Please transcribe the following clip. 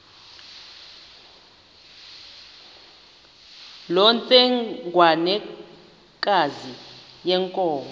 loo ntsengwanekazi yenkomo